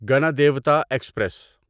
Ganadevta express